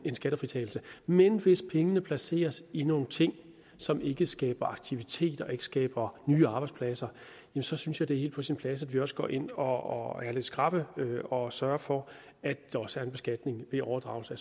en skattefritagelse men hvis pengene placeres i nogle ting som ikke skaber aktivitet og ikke skaber nye arbejdspladser så synes jeg det er helt på sin plads at vi også går ind og er lidt skrappe og sørger for at der også er en beskatning ved overdragelse af